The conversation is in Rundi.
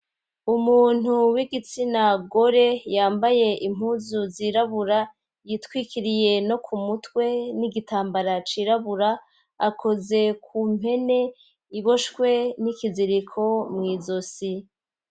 Umuntu w'igitsina gore yambaye impuzu zirabura yitwikiriye no ku mutwe n'igitambara cirabura akoze ku mpene iboshwe n'ikiziriko mw'izosi.